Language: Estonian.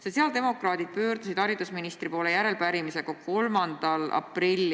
Sotsiaaldemokraadid pöördusid haridusministri poole järelepärimisega 3. aprillil.